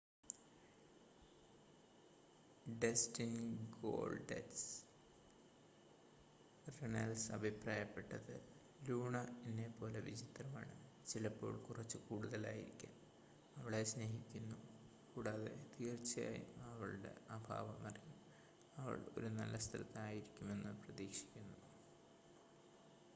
"Dustin "Goldust" Runnels അഭിപ്രായപ്പെട്ടത് "Luna എന്നെ പോലെ വിചിത്രമാണ്...ചിലപ്പോൾ കുറച്ച് കൂടുതൽ ആയിരിക്കാം...അവളെ സ്നേഹിക്കുന്നു കൂടാതെ തീർച്ചയായും അവളുടെ അഭാവം അറിയും...അവൾ ഒരു നല്ല സ്ഥലത്ത് ആയിരിക്കുമെന്ന് പ്രതീക്ഷിക്കുന്നു.""